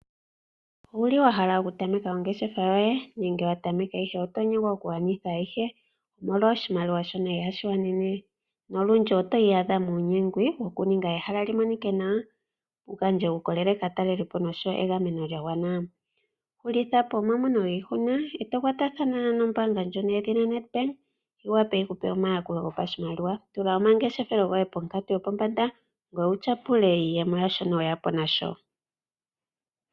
Owu li wa hala okutameka ongeshefa yoye nenge wa tameka, ihe oto nyengwa okugwanitha ayihe molwa oshimaliwa shoka ihashi gwana nolundji oto iyadha muunyengwi wu ninge ehala li monike nawa wu gandje uukolele kaatalelipo nosho wo egameno lya gwana nawa? Hulitha po omamono giihuna e to kwatathana nombaanga yedhina Nedbank yi wape yi ku pe omayakulo gopashimaliwa. Tula omangeshefelo goye ponkatu yopombanda, ngoye wu tyapule iizemo yaa shono we ya po na sho.